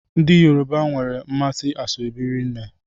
Ndị Yoruba nwere mmasị n'ashebi rinne.